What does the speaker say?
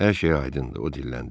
Hər şey aydındır.